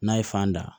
N'a ye fan da